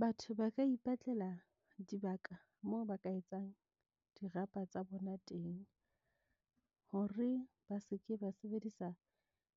Batho ba ka ipatlela dibaka moo ba ka etsang dirapa tsa bona teng, hore ba seke ba sebedisa